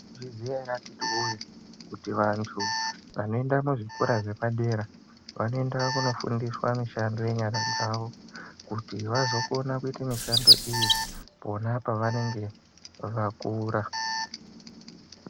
Mwaizviziya ere akiti woye kuti vantu vanoenda muzvikora zvepadera vanoenda kofundiswa mishando yenyara dzawo kuti vazokona kuiya mishando iyi pona pavanenge vakura.